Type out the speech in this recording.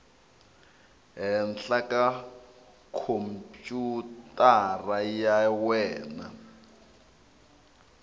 henhla eka khompyutara ya wena